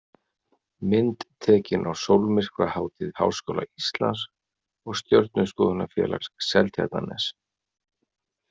Mynd tekin á sólmyrkvahátíð Háskóla Íslands og Stjörnuskoðunarfélags Seltjarnarness.